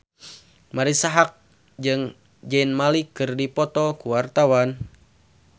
Marisa Haque jeung Zayn Malik keur dipoto ku wartawan